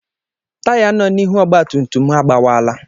Táyá nọ n'ihu ọgbatumtum m agbawala.